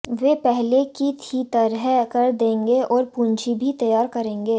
वे पहले की ही तरह कर देंगे और पूंजी भी तैयार करेंगे